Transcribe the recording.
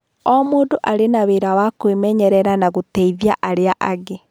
O mũndũ arĩ na wĩra wa kwĩmenyerera na gũteithia arĩa angĩ.